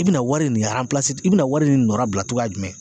I bɛna wari nin i bɛna wari nin nɔrabila cogoya jumɛn?